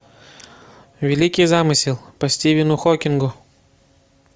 великий замысел по стивену хокингу